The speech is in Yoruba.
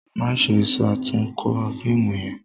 Maṣe ṣatunkọ fiimu yẹn!